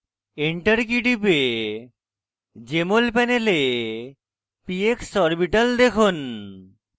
enter key টিপে jmol panel px orbital দেখুন